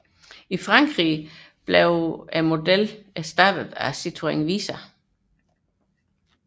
I Frankrig blev modellen erstattet af Citroën Visa